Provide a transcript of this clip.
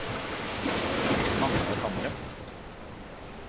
Magnar Hamre